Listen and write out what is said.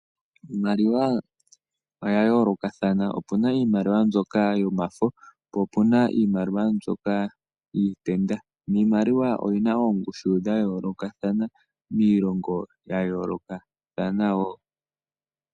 Iimaliwa oya yoolokathana, opu na iimaliwa mbyoka yomafo, po opu na iimaliwa mbyoka yiitenda. Iimaliwa oyi na oongushu dha yoolokathana miilongo ya yoolokathana wo.